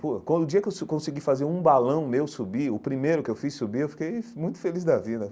Pô, quando o dia que eu su consegui fazer um balão meu subir, o primeiro que eu fiz subir, eu fiquei muito feliz da vida.